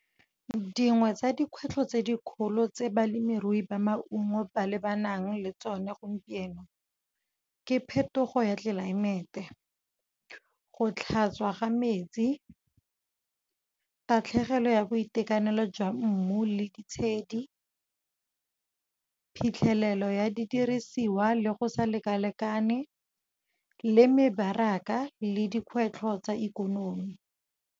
Dngwe tsa dikgwetlho tse dikgolo tse balemirui ba maungo ba lebanang le tsone gompieno. Ke phetogo ya tlelaemete, go tlhatswa ga metsi, tatlhegelo ya boitekanelo jwa mmu le ditshedi, phitlhelelo ya didirisiwa le go sa lekalekane, le mebaraka le dikgwetlho tsa ikonomi.